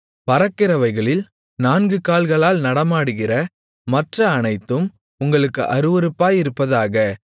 பறக்கிறவைகளில் நான்கு கால்களால் நடமாடுகிற மற்ற அனைத்தும் உங்களுக்கு அருவருப்பாயிருப்பதாக